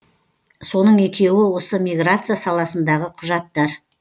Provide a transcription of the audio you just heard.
соның екеуі осы миграция саласындағы құжаттар